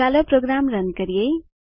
ચાલો program run કરીએ